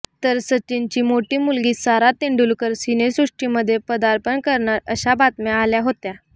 तर सचिनची मोठी मुलगी सारा तेंडुलकर सिनेसृष्टीमध्ये पदार्पण करणार अशा बातम्या आल्या होत्या